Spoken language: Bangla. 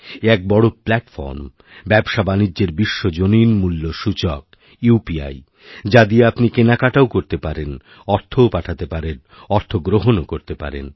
এ এক বড় প্ল্যাটফর্ম ব্যবসাবাণিজ্যেরবিশ্বজনীন মূল্য সূচক উপি যা দিয়ে আপনি কেনাকাটাও করতে পারেন অর্থও পাঠাতে পারেনঅর্থ গ্রহণও করতে পারেন